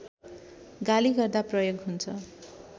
गाली गर्दा प्रयोग हुन्छ